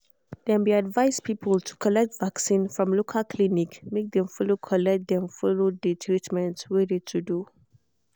dem be advise people to collect vaccin from local clinic make dem follow collect dem follow collect de treatment we de to do.